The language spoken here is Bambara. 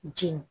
Ji